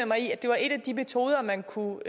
mig i at det var en af de metoder man kunne